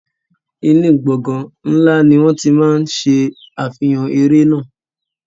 Inú gbọ̀ngàn ńlá ni wọ́n ti máa ń ṣe àfihàn eré náà.